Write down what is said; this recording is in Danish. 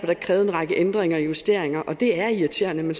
der krævet en række ændringer og justeringer det er irriterende men